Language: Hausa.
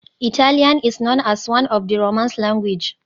Italian is known as one of the romance language.